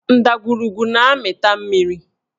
Ndagwurugwu na-amịta mmiri